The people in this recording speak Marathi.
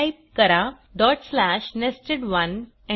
टाईप करा nested1